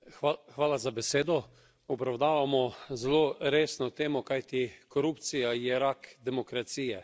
Gospa predsednica, obravnavamo zelo resno temo, kajti korupcija je rak demokracije.